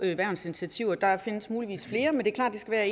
værnsinitiativer der findes muligvis flere sagt at